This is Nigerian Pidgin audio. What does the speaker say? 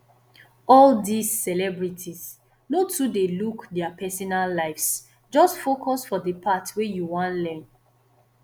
all dis celebrities no too dey look dia personal lives just focus for the part wey you wan learn